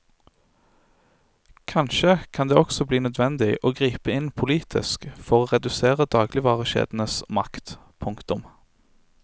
Kanskje kan det også bli nødvendig å gripe inn politisk for å redusere dagligvarekjedenes makt. punktum